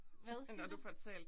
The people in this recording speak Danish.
Hvad siger du?